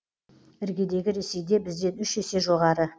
іргедегі ресейде бізден үш есе жоғары